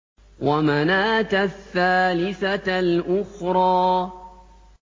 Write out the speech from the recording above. وَمَنَاةَ الثَّالِثَةَ الْأُخْرَىٰ